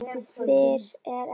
Fyrr er ekkert gert.